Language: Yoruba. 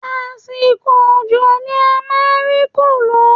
Àsìkò òjò ni a ma ń rí kòló